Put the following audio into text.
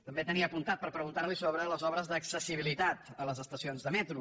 també tenia apuntat per preguntar li sobre les obres d’accessibilitat a les estacions de metro